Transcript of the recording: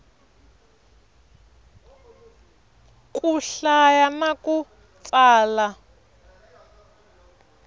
ku hlaya na ku tsala